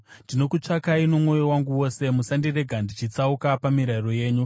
Ndinokutsvakai nomwoyo wangu wose; musandirega ndichitsauka pamirayiro yenyu.